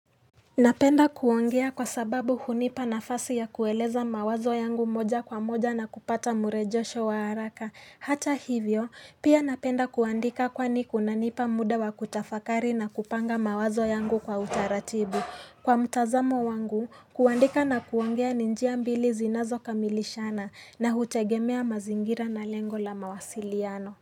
Napenda kuongea kwa sababu hunipa nafasi ya kueleza mawazo yangu moja kwa moja na kupata murejesho wa haraka. Hata hivyo, pia napenda kuandika kwani kunanipa muda wa kutafakari na kupanga mawazo yangu kwa utaratibu. Kwa mtazamo wangu, kuandika na kuongea ni njia mbili zinazokamilishana na hutegemea mazingira na lengo la mawasiliano.